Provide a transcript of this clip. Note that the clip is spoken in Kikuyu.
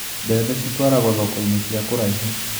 Mbembe citwaragwo thokoinĩ cia kũraihu.